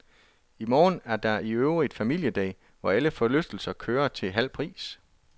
I morgen er der iøvrigt familiedag, hvor alle forlystelser kører til halv pris.